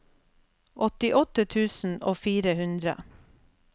åttiåtte tusen og fire hundre